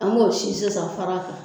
An m'o sin sisan fara kan.